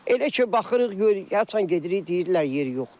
Elə ki baxırıq, görürük, haçan gedirik, deyirlər yer yoxdur.